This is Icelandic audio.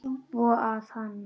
Svo að hann.